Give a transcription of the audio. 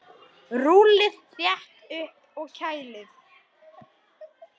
Rúllið þétt upp og kælið.